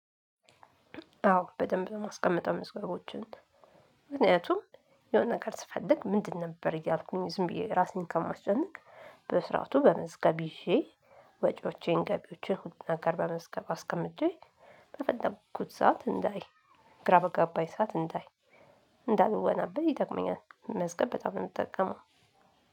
አዎ በደንብ ለማስቀመጥ መስገራቶችን ምክንያቱም የሆነ ነገር ስፈልግ ምንድን ነበር እያልኩኝ ዝም ብዬ ራሴን ከማስጨነቅ በስርዓቱ በመዝገብ ይዤ። ወጪዎቼን ገቢዎችን ሁሉን ነገር በመዝገብ አስቀምጬ። በፈለኩት ሰዓት እንዳይ ግራ በገባኝ ሰዓት እንዳይ እንዳልወናበድ ይጠቅመኛል። መስቀል በጣም ነው የምጠቀመው።